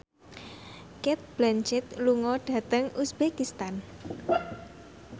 Cate Blanchett lunga dhateng uzbekistan